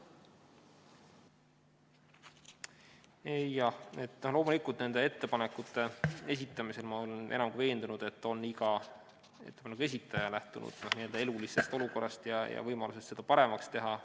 Jah, loomulikult nende ettepanekute esitamisel on, ma olen enam kui veendunud, iga esitaja lähtunud n-ö elulisest olukorrast ja võimalustest seda paremaks teha.